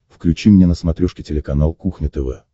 включи мне на смотрешке телеканал кухня тв